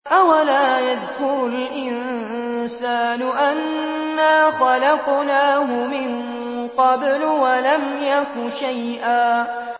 أَوَلَا يَذْكُرُ الْإِنسَانُ أَنَّا خَلَقْنَاهُ مِن قَبْلُ وَلَمْ يَكُ شَيْئًا